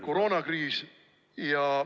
Kolm minutit lisaaega.